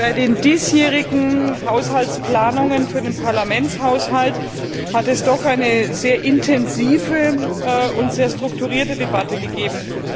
Bei den diesjährigen Haushaltsplanungen für den Parlamentshaushalt hat es doch eine sehr intensive und sehr strukturierte Debatte gegeben.